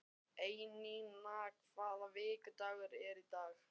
Einína, hvaða vikudagur er í dag?